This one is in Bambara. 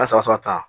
A sɔgɔ sɔgɔ tan